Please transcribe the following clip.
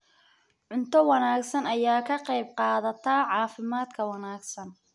Cunto wanaagsan ayaa ka qayb qaadata caafimaadka wanaagsan.